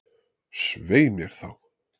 Svei mér þá!